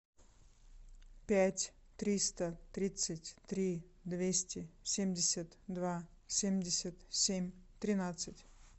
пять триста тридцать три двести семьдесят два семьдесят семь тринадцать